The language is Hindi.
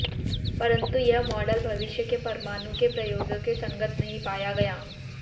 परन्तु यह मॉडल भविष्य के परमाणु के प्रयोगो के संगत नहीं पाया गया